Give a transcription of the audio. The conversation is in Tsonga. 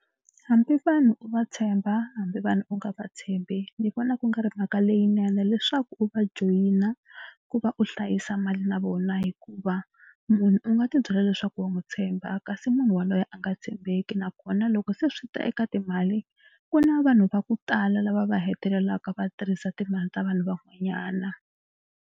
Hambi vanhu u va tshemba hambi vanhu u nga va tshembi ni vona ku nga ri mhaka leyinene leswaku u va joyina ku va u hlayisa mali na vona hikuva munhu u nga tibyela leswaku wa n'wi tshemba kasi munhu yaloye a nga tshembeki nakona loko se swi ta eka timali ku na vanhu va ku tala lava va hetelelaka va tirhisa timali ta vanhu van'wanyana.